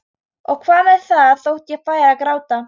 Og hvað með það þótt ég færi að gráta?